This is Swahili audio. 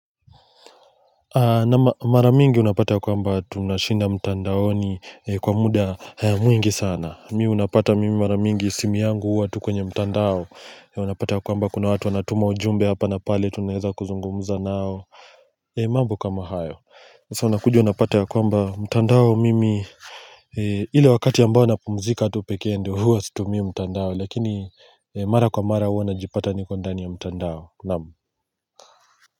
Mara mingi unapata ya kwamba tunashinda mtandaoni kwa muda mwingi sana mi unapata mimi mara mingi simi yangu huwa tu kwenye mtandao unapata ya kwamba kuna watu wanatuma ujumbe hapa na pale tunaeza kuzungumza nao mambo kama hayo sasa unakuja unapata ya kwamba mtandao mimi ile wakati ambao napumzika tu pekee ndo huwa situmii mtandao lakini mara kwa mara huwa najipata niko ndani ya mtandao. Naam.